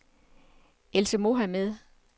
Else Mohamed